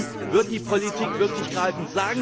Erst dann wird die Politik wirklich greifen.